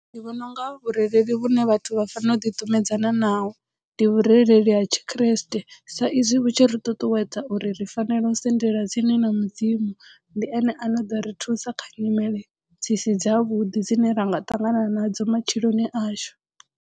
Ndi vhona unga vhurereli vhune vhathu vha fanela u ḓikumedzana naho ndi vhurereli ha tshikreste sa izwi vhu tshi ri ṱuṱuwedza uri ri fanelo u sendela tsini na mudzimu ndi ene a no ḓo ri thusa kha nyimele dzi si dza vhuḓi dzine ra nga ṱangana nadzo matshiloni ashu.